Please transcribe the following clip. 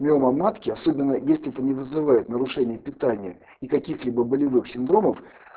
миома матки особенно если это не вызывает нарушение питания и каких-либо болевых синдромов